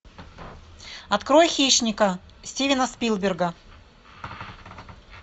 открой хищника стивена спилберга